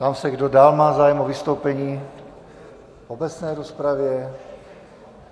Ptám se, kdo dál má zájem o vystoupení v obecné rozpravě.